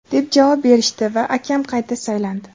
deb javob berishdi va akam qayta saylandi.